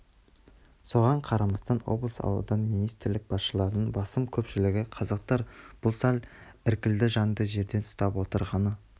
соған қарамастан облыс аудан министрлік басшыларының басым көпшілігі қазақтар бұл сәл іркілді жанды жерден ұстап отырғаны